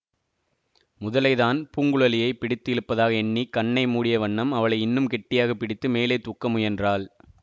முதலைதான் பூங்குழலியைப் பிடித்து இழுப்பதாக எண்ணி கண்ணை மூடிய வண்ணம் அவளை இன்னும் கெட்டியாக பிடித்து மேலே தூக்க முயன்றாள்